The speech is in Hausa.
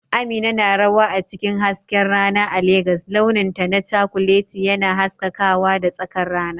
Amina na rawa a cikin hasken rana a Legas, launinta na cakuleti yana haskakawa da tsakar rana.